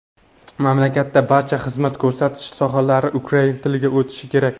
mamlakatda barcha xizmat ko‘rsatish sohalari ukrain tiliga o‘tishi kerak.